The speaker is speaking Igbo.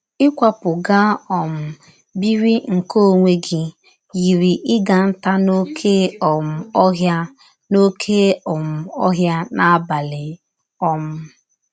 Ịkwapụ gaa um biri nke ọnwe gị yiri ịga ntá n’ọké um ọhịa n’ọké um ọhịa n’abalị um.